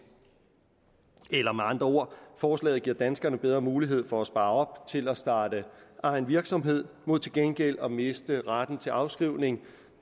eller med andre ord forslaget giver danskerne bedre mulighed for at spare op til at starte egen virksomhed mod til gengæld at miste retten til afskrivning